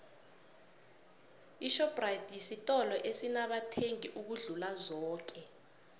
ishoprite sitolo esinamathengi ukudlula zoke